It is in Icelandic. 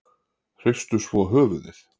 Hristu svo höfuðið.